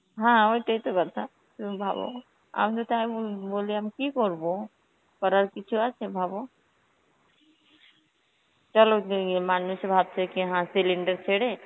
হ্যাঁ ওটাই তো ব্যাপার, তুমি ভাবো, আমি তো তাই মু~ বলে আমি কি করবো, করার কিছু আছে ভাবো? চলো যাইয়ে মানুষে cylinder ছেড়ে,